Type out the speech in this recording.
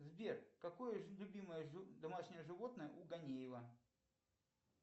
сбер какое любимое домашнее животное у ганиева